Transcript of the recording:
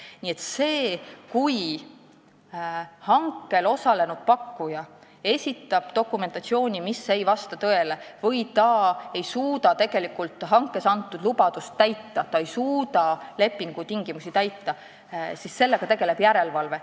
Nii et sellega, kui hankel osalenud pakkuja esitab dokumentatsiooni, mis ei vasta tõele, või ta ei suuda hanke käigus antud lubadust, lepingu tingimusi täita, tegeleb järelevalve.